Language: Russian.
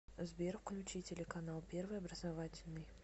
сбер включи телеканал первый образовательный